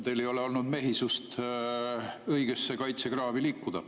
Teil ei ole olnud mehisust õigesse kaitsekraavi liikuda.